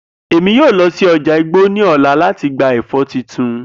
Emi yoo lọ si ọja igbo ni ọla lati gba ẹfọ tuntun.